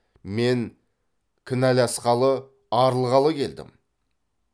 мен кінәласқалы арылғалы келдім